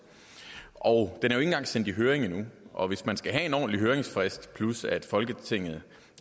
er sendt i høring endnu og hvis man skal have en ordentlig høringsfrist plus at folketinget